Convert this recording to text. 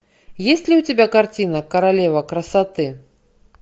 есть ли у тебя картина королева красоты